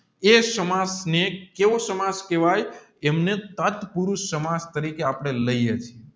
એ ને કેવો કેહવાય જેમને સાથ પુરુષ સમાસ તરીકે આપણે લઇએ છીએ